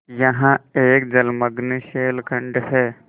यहाँ एक जलमग्न शैलखंड है